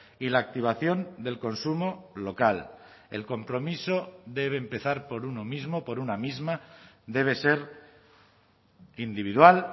y la activación del consumo local el compromiso debe empezar por uno mismo por una misma debe ser individual